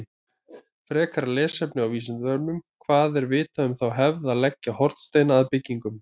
Frekara lesefni á Vísindavefnum: Hvað er vitað um þá hefð að leggja hornsteina að byggingum?